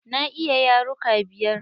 Na iya yaruka biyar.